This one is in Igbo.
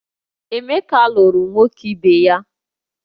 Emeka lụrụ nwoke ibe ya